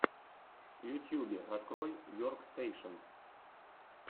в ютубе открой веркстэйшен